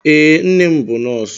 Ee, nne m bú nọọsụ